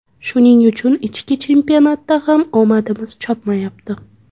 Shuning uchun ichki chempionatda ham omadimiz chopmayapti.